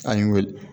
An ye wele